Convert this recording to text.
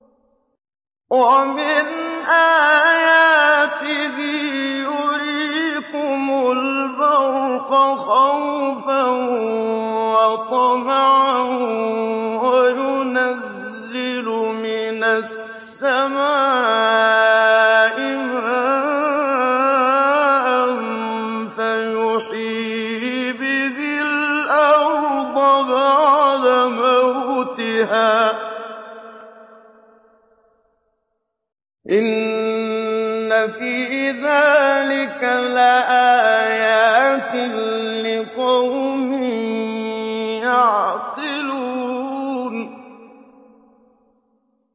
وَمِنْ آيَاتِهِ يُرِيكُمُ الْبَرْقَ خَوْفًا وَطَمَعًا وَيُنَزِّلُ مِنَ السَّمَاءِ مَاءً فَيُحْيِي بِهِ الْأَرْضَ بَعْدَ مَوْتِهَا ۚ إِنَّ فِي ذَٰلِكَ لَآيَاتٍ لِّقَوْمٍ يَعْقِلُونَ